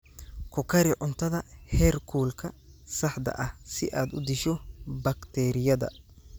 Ku kari cuntada heerkulka saxda ah si aad u disho bakteeriyada.